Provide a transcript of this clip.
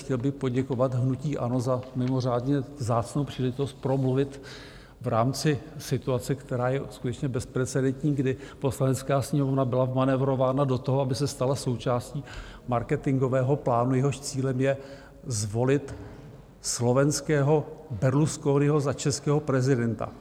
Chtěl bych poděkovat hnutí ANO za mimořádně vzácnou příležitost promluvit v rámci situace, která je skutečně bezprecedentní, kdy Poslanecká sněmovna byla vmanévrována do toho, aby se stala součástí marketingového plánu, jehož cílem je zvolit slovenského Berlusconiho za českého prezidenta.